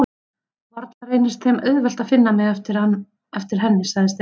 Varla reynist þeim auðvelt að finna mig eftir henni sagði Stefán.